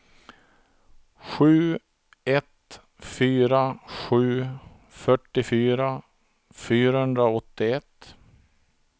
sju ett fyra sju fyrtiofyra fyrahundraåttioett